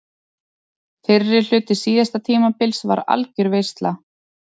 Fyrri hluti síðasta tímabils var algjör veisla.